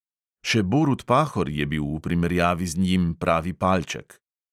Še borut pahor je bil v primerjavi z njim pravi palček.